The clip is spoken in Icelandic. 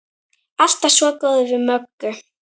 Alltaf svo góður við Möggu.